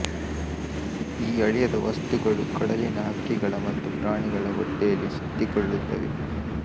ಈ ಅಳಿಯದ ವಸ್ತುಗಳು ಕಡಲಿನ ಹಕ್ಕಿಗಳ ಮತ್ತು ಪ್ರಾಣಿಗಳ ಹೊಟ್ಟೆಯಲ್ಲಿ ಸುತ್ತಿಕೊಳ್ಳುತ್ತವೆ